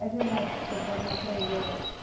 É genético, porque o pai não aprendeu.